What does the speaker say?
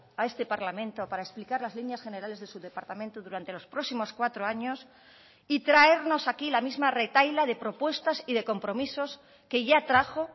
a este parlamento para explicar las líneas generales de su departamento durante los próximos cuatro años y traernos aquí la misma retahíla de propuestas y de compromisos que ya trajo